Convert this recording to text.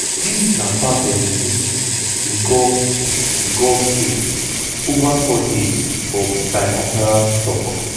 dis na part of im visit to gulf to gulf states ova four days for bilateral tok.